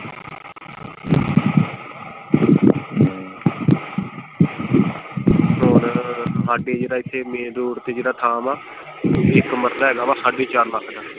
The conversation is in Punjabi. ਹੋਰ ਹਾਡੇ ਜਿਹੜਾ ਇਥੇ ਮੇਨ ਰੋਡ ਤੇ ਜਿਹੜਾ ਥਾਂ ਵਾ ਇੱਕ ਮਰਲਾ ਹੈਗਾ ਵਾ ਸਾਡੇ ਚਾਰ ਲੱਖ ਦਾ।